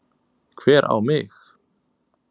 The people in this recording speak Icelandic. Hver á mig?